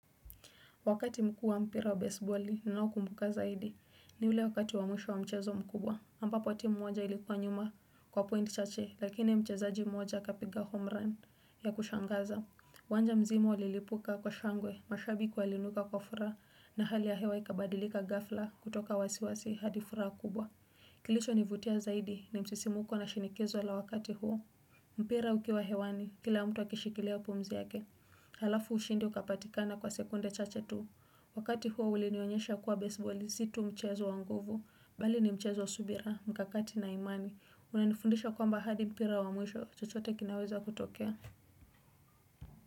Wakati mkuu wa mpira wa baseballi, ninao kumbuka zaidi. Ni ule wakati wamwisho wa mchezo mkubwa. Ambapo timu moja ilikuwa nyuma kwa pointi chache, lakini mchezaji moja kapiga homerun ya kushangaza. uWanja mzima ulilipuka kwa shangwe, mashabiki waliinuka kwa furaha na hali ya hewa ikabadilika ghafla kutoka wasiwasi hadifuraha kubwa. Kilicho nivutia zaidi ni msisimuko na shinikizo la wakati huo. Mpira ukiwa hewani, kila mtu akishikilia pumzi yake. Halafu ushindi ukapatikana kwa sekunde chache tu Wakati huo ulinionyesha kuwa baseballi zitu mchezo wanguvu Bali ni mchezo subira, mkakati na imani unanifundisha kwa mbahadi mpira wa mwisho chochote kinaweza kutokea.